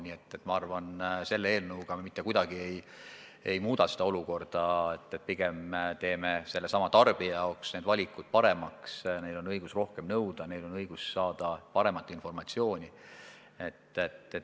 Nii et minu arvates me selle eelnõuga mitte kuidagi ei muuda seda olukorda, pigem teeme tarbija jaoks need valikud paremaks – neil on õigus rohkem nõuda, neil on õigus saada paremat informatsiooni.